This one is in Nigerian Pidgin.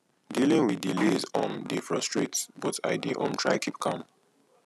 dealing with delays um dey frustrate but i dey um try keep calm